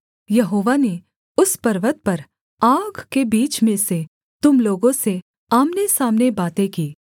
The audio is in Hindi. यहोवा ने उस पर्वत पर आग के बीच में से तुम लोगों से आमनेसामने बातें की